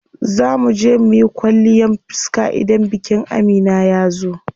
Zaa muje muyi kwalliyan fiska idan bikin Amina yazo.